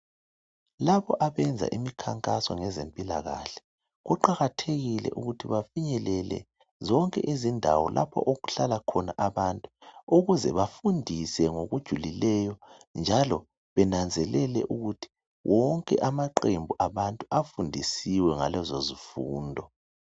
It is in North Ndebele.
Labo abenza imikhankaso ngezempilakahle kuqakathekile ukuthi bafinyelele zonke izindawo lapho okuhlala khona abantu ukuze bafundise ngokujulileyo njalo bananzelele ukuthi wonke amaqembu abantu afundisiwe ngalezozifundo.